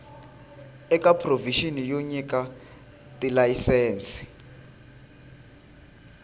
eka provixini yo nyika tilayisense